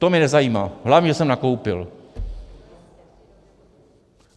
- To mě nezajímá, hlavně že jsem nakoupil.